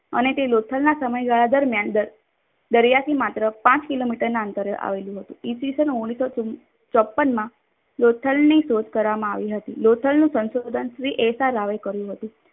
અને તે લોથલના સમયગાળા દરમિયાન દરિયાથી માત્ર પાંચ કિલોમીટરના અંતરે આવેલું હતું. ઈ. સ. ઓગણીસો ચોપ્પનમાં લોથલ ની શોધ કરવામાં આવી હતી. લોથલનું સંશોઘન શ્રી એશારાવે કર્યું હતું.